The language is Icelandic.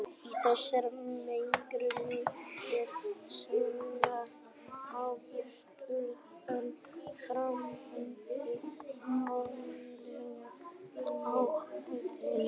Í þessari merkingu er saga atburðarás, framvinda mannlegra athafna.